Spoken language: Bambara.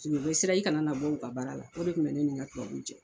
u bɛ siran i kana na bɔ u ka baara la o de kun bɛ ne ni n ka tubabuw cɛ.